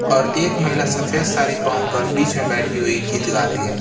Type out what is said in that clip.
और एक महिला सफेद साड़ी पाहन कर बीच में बैठी हुई गीत गा रही है।